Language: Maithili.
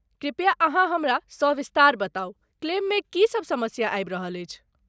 कृपया , अहाँ हमरा सविस्तार बताउ, क्लेममे की सभ समस्या आबि रहल अछि?